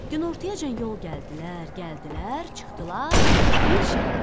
Günortayacan yol gəldilər, gəldilər, çıxdılar bir şəhərə.